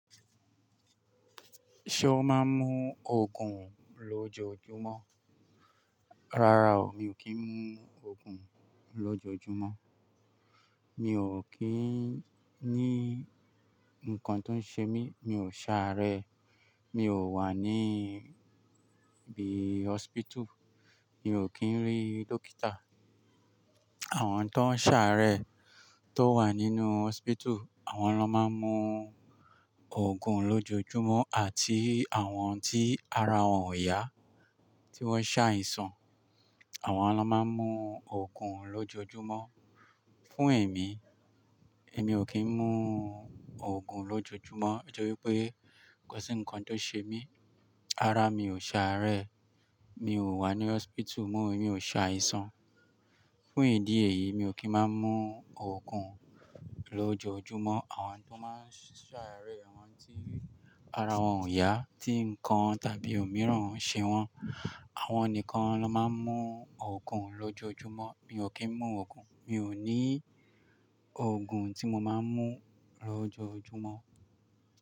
Ṣé o máa ń mú Ògùn lójoojúmọ́? Rárá o, mi ò kí ń mú Ògùn lójoojúmọ́. Mi ò kí ń ní ǹkan tó ń ṣe mí, mi ò ṣàárẹ̀, mi ò wà ní ibi hospital, mi ò kí ń rí dókítà. Àwọn tó ń ṣàárẹ̀ tó wà nínú hospital, àwọn lọ́ máa ń mú Ògùn lójoojúmọ́ àti àwọn tí ara wọn ò yá tí wọ́n ṣàìsàn, àwọn lọ́ máa ń mú Ògùn lójoojúmọ́. Fún èmi, èmi ò kí ń mú Ògùn lójoojúmọ́ ẹjọ́ wípé kò sí ǹkan tó ṣe mí, ara mi ò ṣàárẹ̀, mi ò wà ní hospital mọ́ èmi ò ṣàìsàn. Fún ìdí èyí mi ò kí ń máa ń mú Ògùn lójoojúmọ́. Àwọn tó máa ń ṣàárẹ̀, àwọn tí ara wọn ò yá, tí ǹkan tàbí òmíràn ń ṣe wọ́n, àwọn nìkan lọ máa ń mú Ògùn lójoojúmọ́. Mi ò kí ń mú Ògùn, mi ò ní Ògùn tí mo máa ń mú lójoojúmọ́